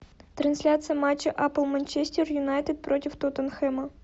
трансляция матча апл манчестер юнайтед против тоттенхэма